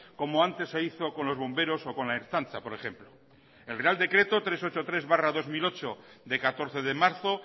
como antes se hizo con los bomberos o con la ertzaintza por ejemplo el real decreto trescientos ochenta y tres barra dos mil ocho de catorce de marzo